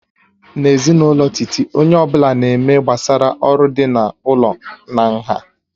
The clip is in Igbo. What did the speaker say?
N'ezinụlọ Titi, onye ọ bụla na-eme gbasara oru dị n'ụlọ na nha